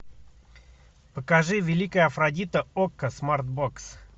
покажи великая афродита окко смартбокс